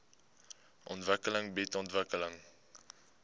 ontwikkeling bied ontwikkeling